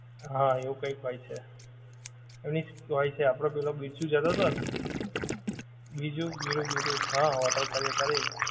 હા એવું કાઇંક હોય છે. મિક્સ હોય છે આપડો પેલો બિરજુ જતો તો ને બિરજુ, બિરુ બિરુ, હા હોટેલ કરી અત્યારે,